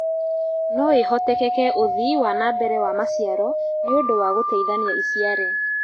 Noĩhotekeke ũthii wana mbere wa maciaro nĩũndũ wa gũtheithania iciare